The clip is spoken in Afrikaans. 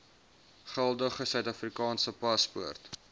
geldige suidafrikaanse paspoort